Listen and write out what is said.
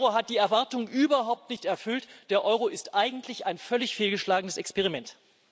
Der Euro hat die Erwartungen überhaupt nicht erfüllt, der Euro ist eigentlich ein völlig fehlgeschlagenes Experiment.